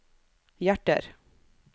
hjerter